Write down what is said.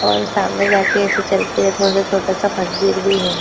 और सामने जाके ऐसे चलके थोडा सा छोटा सा मंदिर भी है।